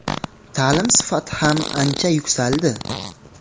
Ta’lim sifati ham ancha yuksaldi.